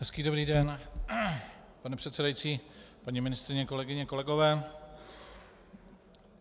Hezký dobrý den, pane předsedající, paní ministryně, kolegyně, kolegové.